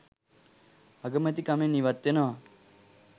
අගමැතිකමෙන් ඉවත්වෙනවා